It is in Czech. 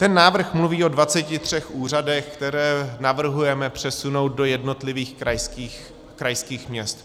Ten návrh mluví o 23 úřadech, které navrhujeme přesunout do jednotlivých krajských měst.